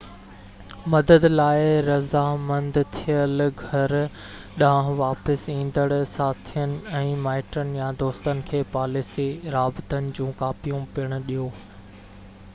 مدد لاءِ راضامند ٿيل گهر ڏانهن واپس ايندڙ ساٿين ۽ مائٽن يا دوستن کي پاليسي/رابطن جون ڪاپيون پڻ ڏيو